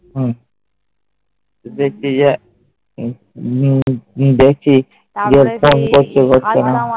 হম দেখছি যে